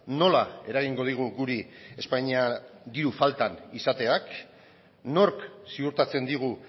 nola eragingo digu guri espainia diru falta izateak nork ziurtatzen digu